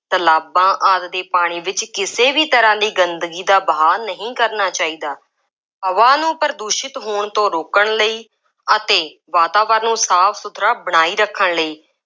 ਤਲਾਬਾਂ ਆਦਿ ਦੇ ਪਾਣੀ ਵਿੱਚ ਕਿਸੇ ਵੀ ਤਰ੍ਹਾਂ ਦੀ ਗੰਦਗੀ ਦਾ ਵਹਾਅ ਨਹੀਂ ਕਰਨਾ ਚਾਹੀਦਾ। ਹਵਾ ਨੂੰ ਪ੍ਰਦੂਸ਼ਿਤ ਹੋਣ ਤੋਂ ਰੋਕਣ ਲਈ ਅਤੇ ਵਾਤਾਵਰਨ ਨੂੰ ਸਾਫ ਸੁਥਰਾ ਬਣਾਈ ਰੱਖਣ ਲਈ